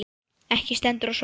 Ekki stendur á svari.